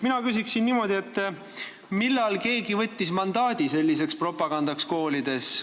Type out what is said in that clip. Mina küsiksin niimoodi, et millal võttis keegi mandaadi selliseks propagandaks koolides.